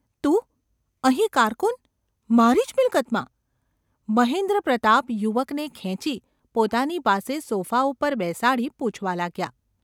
‘તું ? અહીં કારકુન? મારી જ મિલકતમાં !’ મહેન્દ્રપ્રાતાપ યુવકને ખેંચી પોતાની પાસે સોફા ઉપર બેસાડી પૂછવા લાગ્યા.